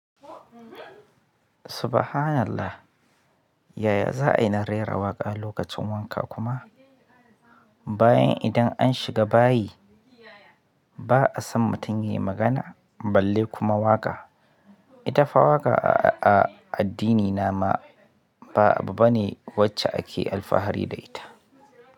Subhanallah! Yaya za ai na rera waƙa lokacin wanka kuma bayan idan an shiga bayi ba a son mutum ya yi magana balle kuma waƙa. Ita fa waƙa a addinina ma ba abu bane wacce ake alfahari da ita.